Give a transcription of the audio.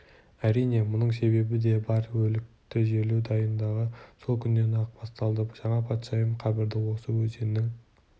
әрине мұның себебі де бар өлікті жерлеу дайындығы сол күннен-ақ басталды жаңа патшайым қабірді осы өзеннің